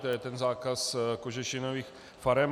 To je ten zákaz kožešinových farem.